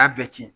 A y'a bɛɛ cɛn